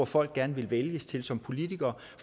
folk gerne vil vælges til som politikere